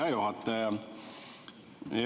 Hea juhataja!